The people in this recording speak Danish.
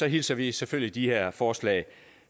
hilser vi selvfølgelig de her forslag